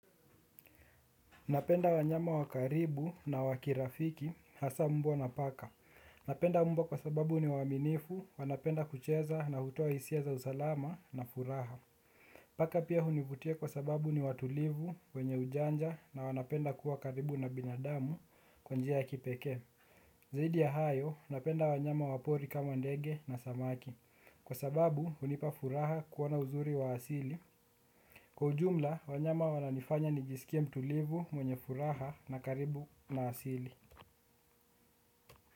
Napenda wanyama wa karibu na wakirafiki hasaa mbwa na paka. Napenda mbwa kwa sababu ni waaminifu, wanapenda kucheza na hutoa hisia za usalama na furaha. Paka pia hunivutia kwa sababu ni watulivu wenye ujanja na wanapenda kuwa karibu na binadamu kwa njia ya kipekee zaidi ya hayo, napenda wanyama wapori kama ndege na samaki. Kwa sababu hunipa furaha kuona uzuri wa asili kwa ujumla, wanyama wananifanya nijisikie mtulivu, mwenye furaha na karibu na asili.